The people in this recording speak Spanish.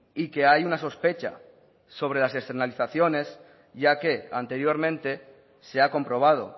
y que hay una sospecha sobre las externalizaciones ya que anteriormente se ha comprobado